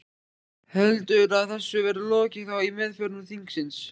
Heldurðu að þessu verði lokið þá í meðförum þingsins?